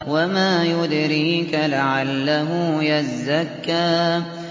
وَمَا يُدْرِيكَ لَعَلَّهُ يَزَّكَّىٰ